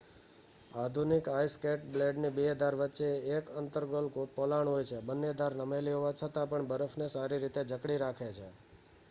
આધુનિક આઇસ સ્કેટના બ્લેડની બે ધાર વચ્ચે એક અન્તર્ગોલ પોલાણ હોય છે બંને ધાર નમેલી હોવા છતાંપણ બરફને સારી રીતે જકડી રાખે છે